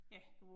Ja